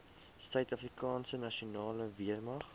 suidafrikaanse nasionale weermag